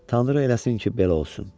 Tanrı eləsin ki, belə olsun.